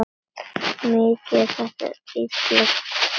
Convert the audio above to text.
Mikið er þetta illa skúrað.